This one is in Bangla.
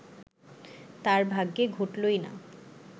তাঁর ভাগ্যে ঘটলই না